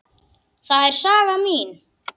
Það er saga mín.